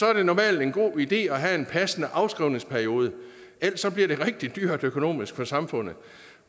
er det normalt en god idé at have en passende afskrivningsperiode ellers bliver det rigtig dyrt økonomisk for samfundet